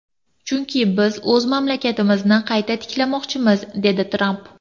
Chunki biz o‘z mamlakatimizni qayta tiklamoqchimiz”, dedi Tramp.